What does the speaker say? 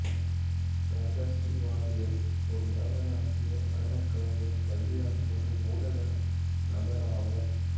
ராஜஸ்ரீ வாரியர் ஒரு பாரத நாட்டிய நடனக் கலைஞர் கல்வியாளர் மற்றும் ஊடக நபர் ஆவார்